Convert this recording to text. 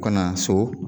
U kana so